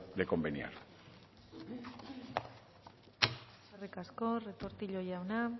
de conveniar eskerrik asko retortillo jauna